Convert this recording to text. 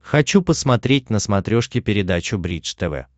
хочу посмотреть на смотрешке передачу бридж тв